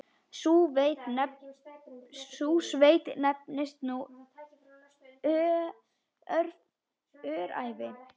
Sú sveit nefnist nú Öræfi.